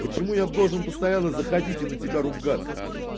почему я должен постоянно заходите и на тебя ругаться